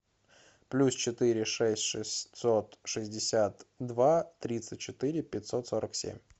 плюс четыре шесть шестьсот шестьдесят два тридцать четыре пятьсот сорок семь